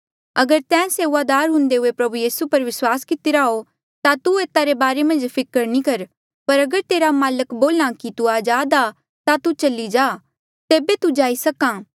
अगर तैं सेऊआदार हुंदे हुए प्रभु यीसू पर विस्वास कितिरा हो ता तू एता रे बारे मन्झ फिकर नी कर पर अगर तेरा माल्क बोल्हा कि तू अजाद आ ता तू चली जा तेबे तू जाईं सक्हा